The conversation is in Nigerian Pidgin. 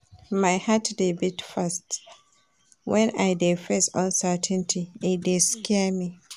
My heart dey beat fast wen I dey face uncertainty, e dey scare me.